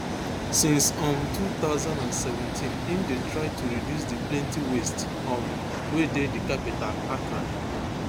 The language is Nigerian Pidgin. since um two thousand and seventeen im dey try to reduce di plenty waste um wey dey di capital accra